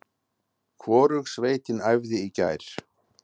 Hvorug sveitin æfði í gær.